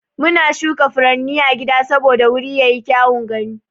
Muna shuka furanni a gida saboda wuri yayi kyaun gani.